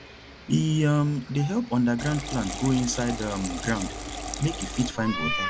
e um dey help underground plant go inside um ground make e fit find water